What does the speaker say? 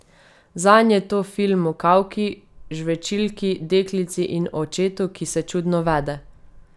Zanj je to film o kavki, žvečilki, deklici in očetu, ki se čudno vede.